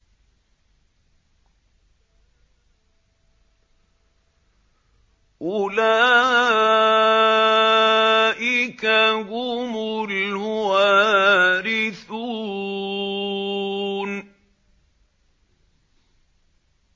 أُولَٰئِكَ هُمُ الْوَارِثُونَ